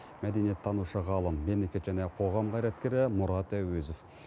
мәдениеттанушы ғалым мемлекет және қоғам қайраткері мұрат әуезов